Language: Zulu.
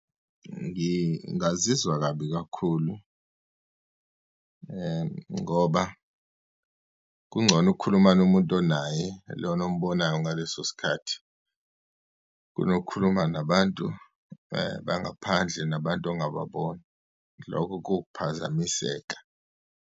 Ngingazizwa kabi kakhulu ngoba kungcono ukhulumana umuntu onaye lona ombonayo ngaleso sikhathi, kunokhuluma nabantu bangaphandle nabantu ongababoni. Lokho kuwukuphazamiseka.